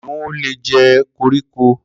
Kiniùn ó lé jẹ kórikó